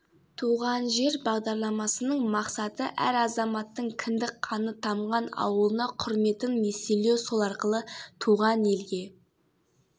туған жер бағдарламасының мақсаты әр азаматтың кіндік қаны тамған ауылына құрметін еселеу сол арқылы туған елге